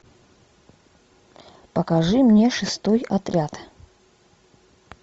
покажи мне шестой отряд